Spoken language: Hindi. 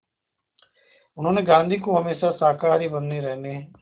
उन्होंने गांधी को हमेशा शाकाहारी बने रहने